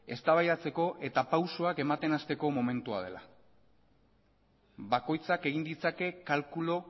eztabaidatzeko eta pausuak ematen hasteko momentua dela bakoitzak egin ditzake kalkulu